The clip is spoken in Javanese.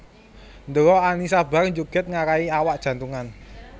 Ndelok Annisa Bahar njoget nggarai awak jantungan